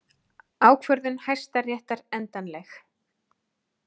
Ákvörðun Hæstaréttar endanleg